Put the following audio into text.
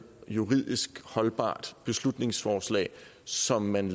juridisk holdbart beslutningsforslag som man